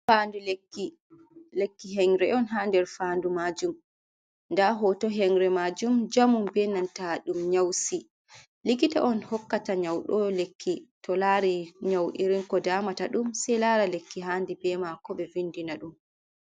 Faandu lekki henre on, ha nder faandu majum nda hoto hengre majum jamum benanta ɗum nyausi likita on hokkata nyaudo lekki to lari nyau’irin ko damata ɗum sei lara lekki handi be mako be vindina ɗum.